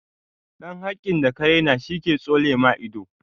Ɗan hakin da ka raina shi ke tsole ma ido.